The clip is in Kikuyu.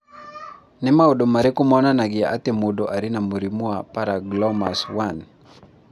Nĩ maũndũ marĩkũ monanagia atĩ mũndũ arĩ na mũrimũ wa Paragangliomas 1?